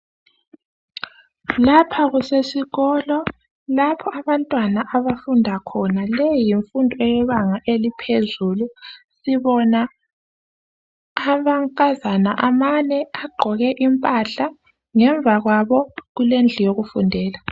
Lapha kusesikolo lapho abantwana abafunda khona. Leyi yimfundo eyebanga eliphezulu. Sibona amankazana amane agqoke impahla, ngemva kwabo kulendlu yokufundela.